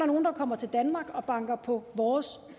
nogle der kommer til danmark og banker på vores